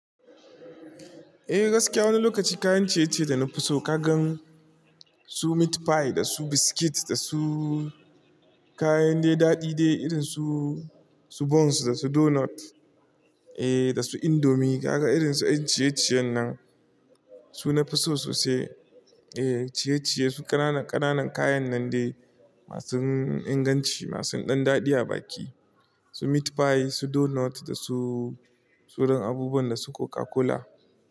Eh gaskiya wani lokaci kayan ciye-ciye da na fi so ka gan su meat pie da su biscuit da su kayan dai daɗi dai irin su, su buns da su donut eh da su indomie ka ga irin su 'yan ciye-ciyen nan. Su na fi so sosai eh ciye-ciye su ƙananan ƙananan kayan nan dai masu inganci, masu ɗan daɗi a baki. Su meat pie, su donut da su tsohon abubuwan da su Coca-Cola.